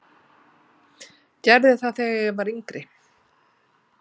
Gerði það þegar ég var yngri.